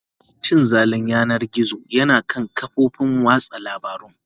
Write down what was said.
Cin zalin yanar gizo yana kan kafofin watsa labarun.